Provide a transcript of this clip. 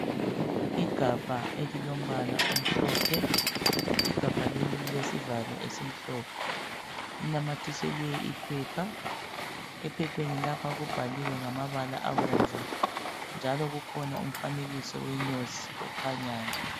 Igabha elilombala omhlophe. Igabha leli lilesivalo esimhlophe. Linamathiselwe iphepha. Ephepheni lapha kubhaliwe ngamabala abomvu. Njalo kukhona umfanekiso wenyosi okhanyayo.